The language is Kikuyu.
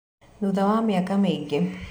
Thutha wa mĩaka mĩingĩ